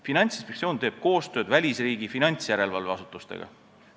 Finantsinspektsioon teeb koostööd välisriikide finantsjärelevalveasutustega.